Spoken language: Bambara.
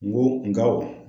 N go ng'aw ma.